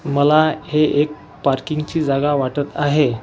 मला हे एक पार्किंगची जागा वाटत आहे.